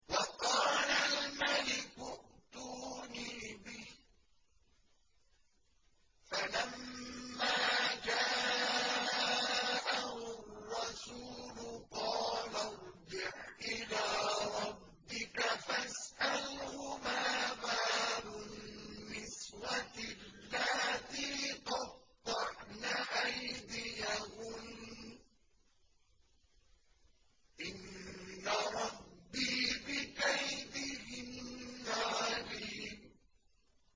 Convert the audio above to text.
وَقَالَ الْمَلِكُ ائْتُونِي بِهِ ۖ فَلَمَّا جَاءَهُ الرَّسُولُ قَالَ ارْجِعْ إِلَىٰ رَبِّكَ فَاسْأَلْهُ مَا بَالُ النِّسْوَةِ اللَّاتِي قَطَّعْنَ أَيْدِيَهُنَّ ۚ إِنَّ رَبِّي بِكَيْدِهِنَّ عَلِيمٌ